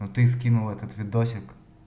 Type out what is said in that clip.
но ты скинул этот видосик